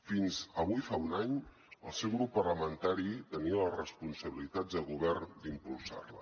fins avui fa un any el seu grup parlamentari tenia les responsabilitats de govern d’impulsar la